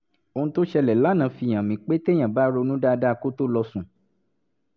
ohun tó ṣẹlẹ̀ lánàá fi hàn mí pé téèyàn bá ronú dáadáa kó tó lọ sùn